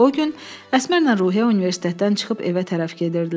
O gün Əsmərlə Ruhiyyə universitetdən çıxıb evə tərəf gedirdilər.